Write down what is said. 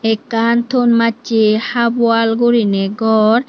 ekkan thon masche half wall gorinay gor.